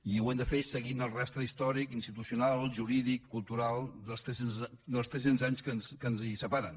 i ho hem de fer seguint el rastre històric institucional jurídic cultural dels tres cents anys que ens separen